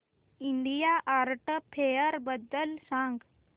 India art fair बद्दल सांग